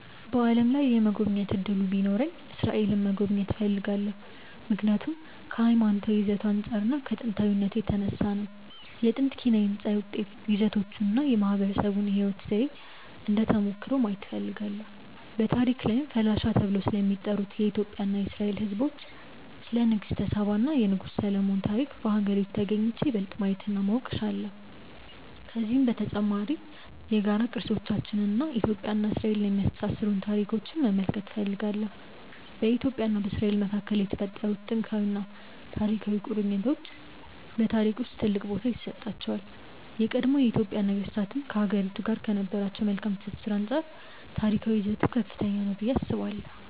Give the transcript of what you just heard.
በዓለም ላይ የመጎብኘት እድሉ ቢኖረኝ እስራኤልን መጎብኘት እፈልጋለሁ። ምክንያቱም ከሀይማኖታዊ ይዘቱ አንፃር እና ከጥንታዊነቱ የተነሳ ነው። የጥንት ኪነ ህንፃ ይዘቶቹን እና የማህበረሰቡን የህይወት ዘዬ እንደ ተሞክሮ ማየት እፈልጋለሁ። በታሪክ ላይም ፈላሻ ተብለው ስለሚጠሩት የኢትዮጵያ እና የእስራኤል ህዝቦች፣ ስለ ንግስተ ሳባ እና የንጉስ ሰሎሞን ታሪክ በሀገሪቱ ተግኝቼ ይበልጥ ማየት እና ማወቅ እችላለሁ። ከዚሁም በተጨማሪ የጋራ ቅርሶቻችንን እና ኢትዮጵያን እና እስራኤልን የሚያስተሳስሩንን ታሪኮች መመልከት እፈልጋለሁ። በኢትዮጵያ እና በእስራኤል መካከል የተፈጠሩት ጥንታዊና ታሪካዊ ቁርኝቶች በታሪክ ውስጥ ትልቅ ቦታ ይሰጣቸዋል። የቀድሞ የኢትዮጵያ ነገስታትም ከሀገሪቱ ጋር ከነበራቸው መልካም ትስስር አንፃር ታሪካዊ ይዘቱ ከፍተኛ ነው ብዬ አስባለሁ።